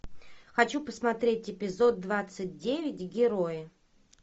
хочу посмотреть эпизод двадцать девять герои